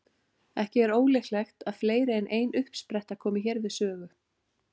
Ekki er ólíklegt að fleiri en ein uppspretta komi hér við sögu.